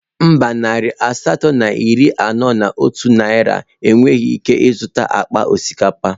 Mba, narị asatọ na iri anọ na otu naira enweghị ike ịzụta akpa osikapa